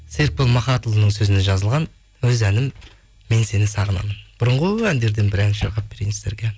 серікбол махатұлының сөзіне жазылған өз әнім мен сені сағынамын бұрынғы әндерден бір ән шырқап берейін сіздерге